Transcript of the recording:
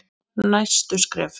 Næstu skref?